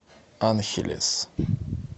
анхелес